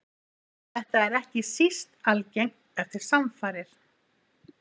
Þetta er ekki síst algengt eftir samfarir.